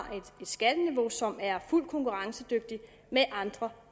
et skatteniveau som er fuldt konkurrencedygtigt med andre